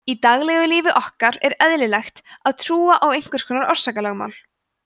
í daglegu lífi okkar er eðlilegt að trúa á einhvers konar orsakalögmál